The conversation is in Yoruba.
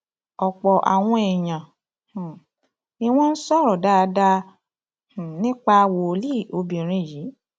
ọpọ àwọn èèyàn um ni wọn sọrọ dáadáa um nípa wòlíì obìnrin yìí